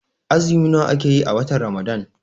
Azumi nawa ake yi a watan Ramadan?